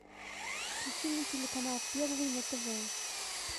включи мне телеканал первый на тв